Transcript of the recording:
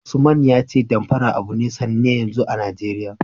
Usman ya ce Damfara abu ne sanne yanzu a Najeriya.